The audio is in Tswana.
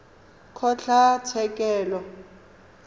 kgotlatshekelo